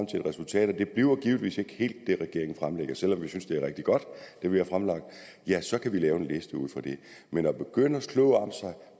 til et resultat og det bliver givetvis ikke helt det regeringen fremlægger selv om vi synes at det er rigtig godt ja så kan vi lave en liste ud fra det men at begynde at slå om sig